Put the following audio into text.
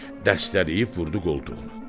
Dəstələyib vurdu qoltuğuna.